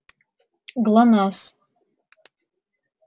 глонассс